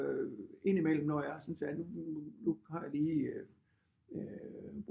Ind i mellem når jeg synes at nu har jeg lige øh